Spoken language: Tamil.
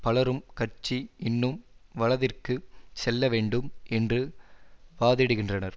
பலரும் கட்சி இன்னும் வலதிற்கு செல்ல வேண்டும் என்று வாதிடுகின்றனர்